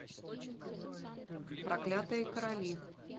проклятые короли